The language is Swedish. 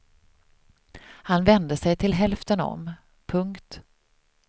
Han vände sig till hälften om. punkt